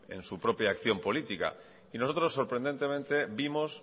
en su propia acción política y nosotros sorprendentemente vimos